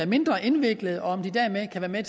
mindre indviklede og om de dermed kan være